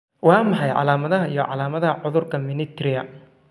Waa maxay calaamadaha iyo calaamadaha cudurka Menetrier?